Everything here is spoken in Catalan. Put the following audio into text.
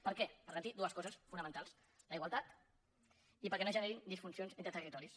per què per garantir dues coses fonamentals la igualtat i perquè no es generin disfuncions entre territoris